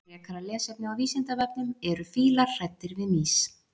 Frekara lesefni á Vísindavefnum: Eru fílar hræddir við mýs?